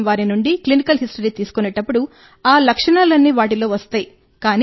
మేం వారి నుండి క్లినికల్ హిస్టరీని తీసుకునేటప్పుడు ఆ లక్షణాలన్నీ వాటిలో వస్తాయి